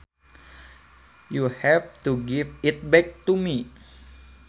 You have to give it back to me